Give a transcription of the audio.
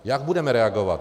Jak budeme reagovat?